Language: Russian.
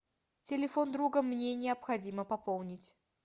телефон друга мне необходимо пополнить